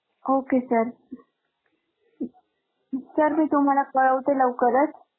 ok sir sir मी तुम्हाला कळवते लवकरच.